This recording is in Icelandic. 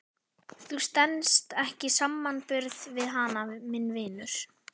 Þú stenst ekki samanburð við hana minn vinur.